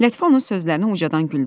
Lətifə onun sözlərinə ucadan güldü.